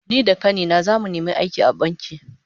Ni da kani na zamu nemi aiki a banki